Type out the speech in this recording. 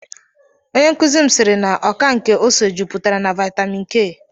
Onye nkụzi m siiri na ọka nke ose jupụtara na vaitamin K.